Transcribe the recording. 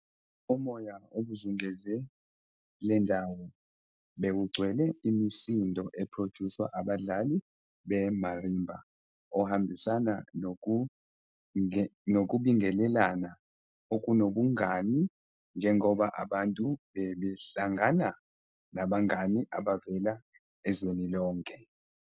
Umoya obuzungeze le ndawo bewugcwele imisindo ephrojuswa abadlali be-marimba ohambisana nokubingelelana okunobungani njengoba abantu bebehlangana nabangani abavela ezweni lonke.